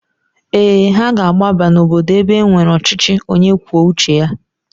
Ee, ha ga-agbaba n'obodo ebe e nwere ọchịchị onye kwuo uche ya.